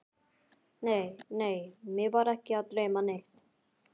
Nei, nei, mig var ekki að dreyma neitt.